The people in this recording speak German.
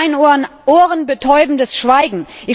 In meinen Ohren ohrenbetäubendes Schweigen.